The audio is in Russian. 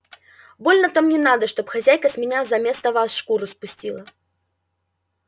больно-то мне надо чтоб хозяйка с меня заместо вас шкуру спустила